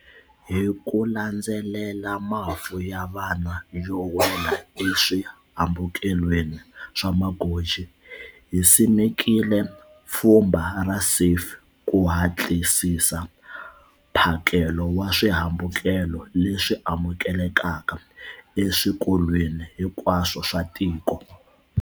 Hi ku landzelela mafu ya vana yo wela eswihambukelweni swa magoji, hi simekile pfhumba ra SAFE ku hatlisisa mphakelo wa swihambukelo leswi amukelekaka eswikolweni hinkwaswo swa tiko.